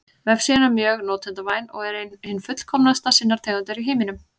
Vefsíðan er mjög notendavæn og er ein hin fullkomnasta sinnar tegundar í heiminum.